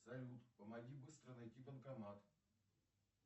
салют помоги быстро найти банкомат